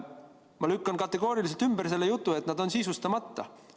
Ma lükkan kategooriliselt ümber selle jutu, et nad on sisustamata.